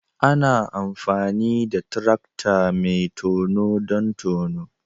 Ana amfani da tarakta mai tono don tono